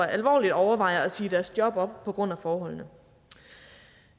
alvorligt overvejer at sige deres job op på grund af forholdene